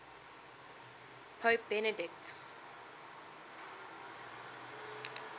pope benedict